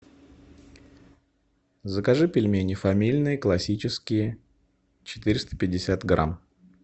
закажи пельмени фамильные классические четыреста пятьдесят грамм